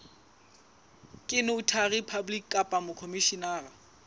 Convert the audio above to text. ke notary public kapa mokhomishenara